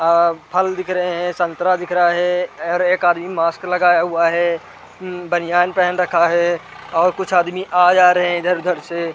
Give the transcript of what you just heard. आ फल दिख रहे हैं संतरा दिख रहा है और एक आदमी मास्क लगाया हुआ है बनियान पहन रखा है और कुछ आदमी आ जा रहे हैं इधर-उधर से।